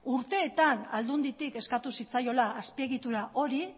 urteetan aldunditik eskatu zitzaiola azpiegitura hori